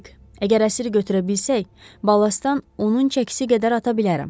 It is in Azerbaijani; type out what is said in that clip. Dik, əgər əsiri götürə bilsək, balastdan onun çəkisi qədər ata bilərəm.